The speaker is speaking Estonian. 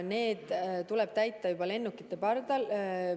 Need tuleb täita lennuki pardal.